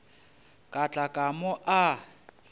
ka tla ka mo a